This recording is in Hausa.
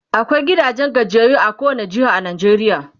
akwai gidajen gajiyayyu a kowani jeha a Najeriya